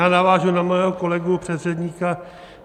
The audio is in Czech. Já navážu na svého kolegu předřečníka.